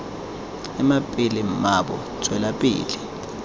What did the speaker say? ema pele mmaabo tswela pele